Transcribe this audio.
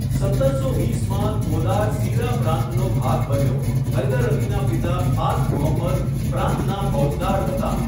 સત્તરસો વીસમાં, કોલાર સીરા પ્રાંતનો ભાગ બન્યો, હૈદર અલીના પિતા ફાથ મુહમ્મદ પ્રાંતના ફૌજદાર હતા.